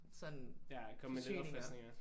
Ja komme med genopfriskninger